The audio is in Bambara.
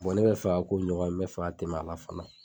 ne bɛ fɛ ka k'o ɲɔgɔn ye n be fɛ ka tɛm'a la fɛnɛ.